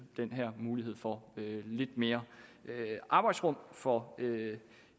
den her mulighed for lidt mere arbejdsrum for